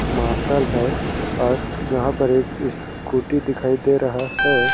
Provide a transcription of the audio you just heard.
Martial है और यहाँ पर एक स्कूटी दिखाई दे रहा है।